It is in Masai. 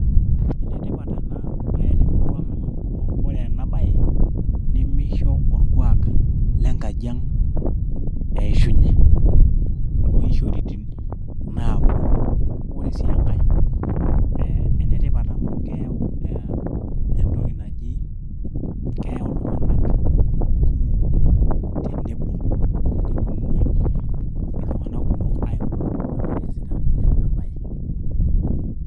ene tipat amu ore ena baye nimisho orkuak lengajiang' eeshunye tooishoritin naapuonu , ore sii engae naa ene tipat amu keyau iltung'anak tenebo.